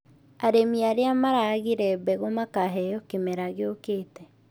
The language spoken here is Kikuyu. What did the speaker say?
Arĩmi arĩa maragire mbegũ makaheo kĩmera gĩũkĩte